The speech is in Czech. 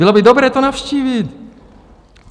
Bylo by dobré je navštívit.